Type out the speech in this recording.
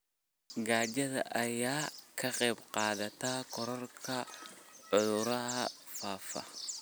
Gaajada ayaa ka qayb qaadata kororka cudurrada faafa.